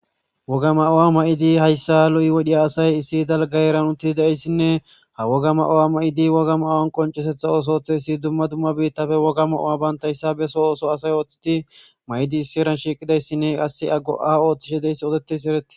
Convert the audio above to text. wogga ma'uwa may'idi hayssa lo'i wode asay issi dalgga heeran utiidi de'iyayssinne ha wogga ma'uwa ma'idi wogga ma'awan qonciseththa oosooththo oothth dumma dumma biittafe wogga ma'uwa bayntayssa besso ooththo asay ooththidi may'idi issi heeran shiiqidayssinne qasse go'a ooththishshe de'iyayssi ooseriiyaysi eretees